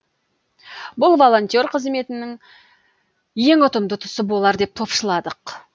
бұл волонтер қызметінің ең ұтымды тұсы болар деп топшыладық